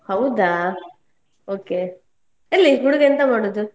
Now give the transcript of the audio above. ಹೌದಾ okay ಎಲ್ಲಿ ಹುಡುಗ ಎಂತ ಮಾಡುದು?